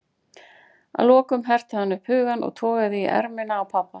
Að lokum herti hann upp hugann og togaði í ermina á pabba.